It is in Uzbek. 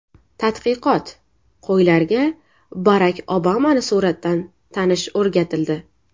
Tadqiqot: Qo‘ylarga Barak Obamani suratdan tanish o‘rgatildi .